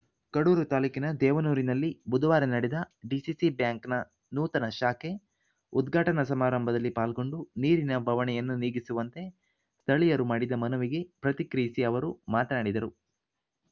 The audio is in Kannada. ಕಡೂರು ತಾಲೂಕಿನ ದೇವನೂರಿನಲ್ಲಿ ಬುಧವಾರ ನಡೆದ ಡಿಸಿಸಿ ಬ್ಯಾಂಕ್‌ನ ನೂತನ ಶಾಖೆ ಉದ್ಘಾಟನಾ ಸಮಾರಂಭದಲ್ಲಿ ಪಾಲ್ಗೊಂಡು ನೀರಿನ ಬವಣೆಯನ್ನು ನೀಗಿಸುವಂತೆ ಸ್ಥಳೀಯರು ಮಾಡಿದ ಮನವಿಗೆ ಪ್ರತಿಕ್ರಿಯಿಸಿ ಅವರು ಮಾತನಾಡಿದರು